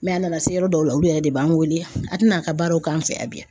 Mɛ a nana se yɔrɔ dɔw la olu yɛrɛ de b'an wele a tɛna a ka baaraw k'an fɛ yan bi